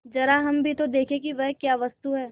जरा हम भी तो देखें कि वह क्या वस्तु है